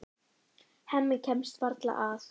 Hemmi kemst varla að.